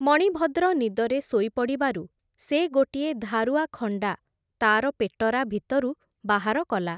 ମଣିଭଦ୍ର ନିଦରେ ଶୋଇପଡ଼ିବାରୁ, ସେ ଗୋଟିଏ ଧାରୁଆ ଖଣ୍ଡା, ତା’ର ପେଟରା ଭିତରୁ ବାହାର କଲା ।